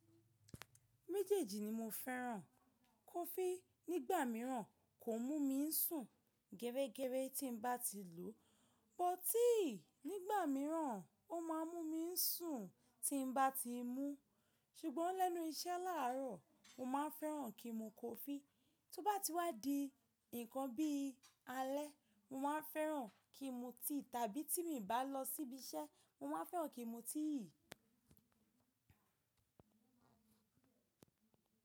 Méjèèjì ni mo fẹ́ràn. Kọfí nígbà míràn kò n mú mi ń sùn gẹrẹ́gẹrẹ tí n bá ti lòó, bótíì nígbà míràn, ó ma mú mi ń sùn tí n bá ti mú. Ṣùgbọ́n lẹ́nu iṣẹ́ láàrọ̀, mo máa ń fẹ́ràn kí n mu kọfí. Tóbá ti wá di nǹkan bí alẹ́, mo máa ń fẹ́ràn kí n mu tíì; tàbí tí mi bá lọ síbi iṣẹ́, mo máa ń fẹ́ràn kí n mu tíì.